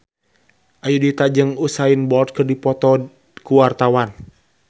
Ayudhita jeung Usain Bolt keur dipoto ku wartawan